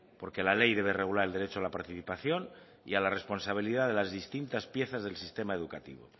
porque la ley debe regular el derecho a la participación y a la responsabilidad de las distintas piezas del sistema educativo